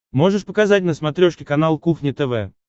можешь показать на смотрешке канал кухня тв